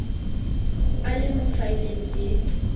a le mo faeleng e